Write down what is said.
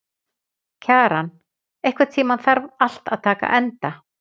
Kjaran, einhvern tímann þarf allt að taka enda.